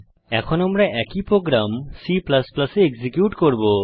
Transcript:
এখন আমরা একই প্রোগ্রাম C এ এক্সিকিউট করব